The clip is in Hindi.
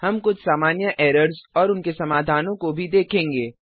हम कुछ सामान्य एरर्स और उनके समाधानों को भी देखेंगे